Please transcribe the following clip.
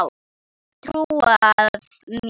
Og trúað mér!